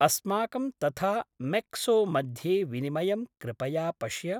अस्माकं तथा मेक्सो मध्ये विनिमयं कृपया पश्य।